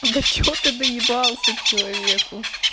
да чего ты доебался к человеку